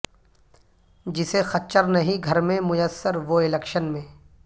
جسے خچر نہیں گھر میں میسر وہ الیکشن میں